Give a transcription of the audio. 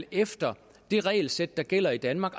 efter det regelsæt der gælder i danmark